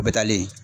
O bɛ taalen